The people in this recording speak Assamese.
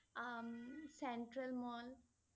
um Central Mall